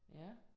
Ja